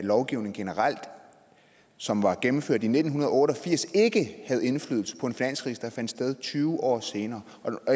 lovgivning generelt som var gennemført i nitten otte og firs ikke havde indflydelse på en finanskrise der fandt sted tyve år senere